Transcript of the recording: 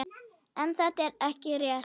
En þetta er ekki rétt.